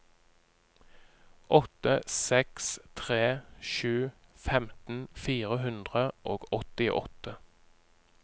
åtte seks tre sju femten fire hundre og åttiåtte